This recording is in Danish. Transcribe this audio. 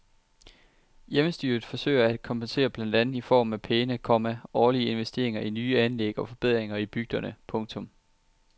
Hjemmestyret forsøger at kompensere blandt andet i form af pæne, komma årlige investeringer i nye anlæg og forbedringer i bygderne. punktum